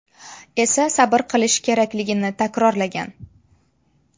esa sabr qilishi kerakligini takrorlagan.